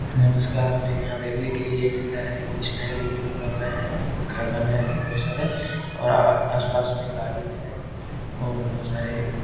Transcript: नमस्कार हमे यहां देखने के लिए ये मिल रहा है कुछ नया बिल्डिंग बन रहे हैं घर बना रहे हैं बहुत सारे और आ आस-पास मे गाड़ी है और बहुत सारे --